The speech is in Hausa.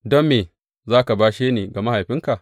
Don me za ka bashe ni ga mahaifinka?